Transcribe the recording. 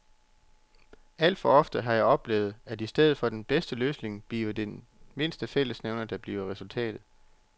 Alt for ofte har jeg oplevet, at i stedet for den bedste løsning bliver det den mindste fællesnævner, der bliver resultatet.